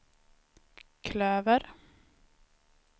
klöver